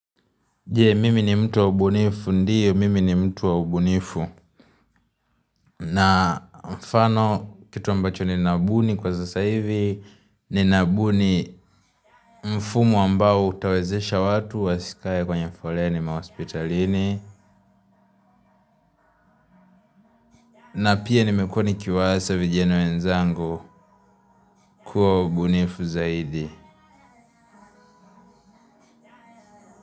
Je, mimi ni mtu wa ubunifu ndio, mimi ni mtu wa ubunifu, na mfano kitu ambacho ninabuni kwa sasa hivi, ninabuni mfumo ambao utawezesha watu wasikae kwenye foleni mahospitalini, na pia nimekuwa nikiiwaza vijana wenzangu kuwa wabunifu zaidi.